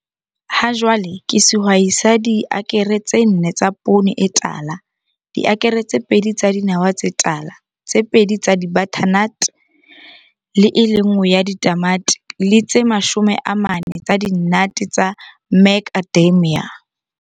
Hajwale ke sehwai sa diakere tse 4 tsa poone e tala, diakere tse 2 tsa dinawa tse tala, tse 2 tsa di-butternuts, e le nngwe ya ditamati le tse 40 tsa dinnate tsa Macadamia.